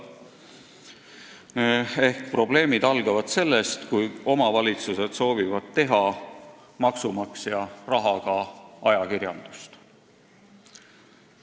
Nimelt, probleemid algavad sellest, kui omavalitsused soovivad teha maksumaksja rahaga ajakirjandust.